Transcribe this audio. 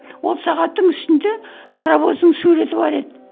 ол сағаттың үстінде паровоздың суреті бар еді